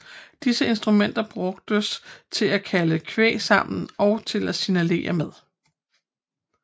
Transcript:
Disse instrumenter brugtes til at kalde kvæg sammen og til at signalere med